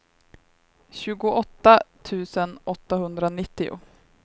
tjugoåtta tusen åttahundranittio